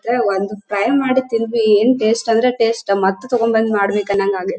ತ್ರೆ ಒಂದು ಫ್ರೈ ಮಾಡಿ ತಿಂದ್ವಿ ಏನ್ ಟೇಸ್ಟ್ ಅಂದ್ರೆ ಟೇಸ್ಟ್ ಮತ್ತ್ ತಗೋಬಂದ ಮಾಡ್ಬೇಕು ಅನಂಗ್ ಆಗಿ --